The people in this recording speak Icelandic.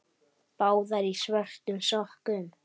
Báðar í svörtum sokkum.